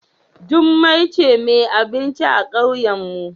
Jummai ce mai abinci a kauyenmu.